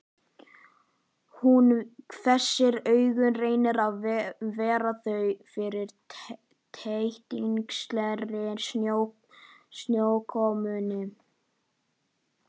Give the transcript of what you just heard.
Hún hvessir augun, reynir að verja þau fyrir tætingslegri snjókomunni.